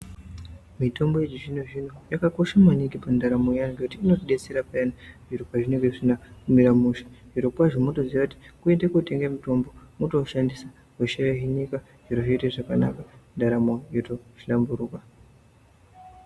Mitombo yechi zvino zvino yakakosha maningi mu ndaramo ye vantu ngekuti inoti detsera payani zviro pa zvinenge zvisina kumira mushe zviro kwazvo motoziya kuti kuende kotenge mitombo motowu shandisa hosha yo hinika zviro zvoita zvakanaka ndaramo yoto hlamburuka.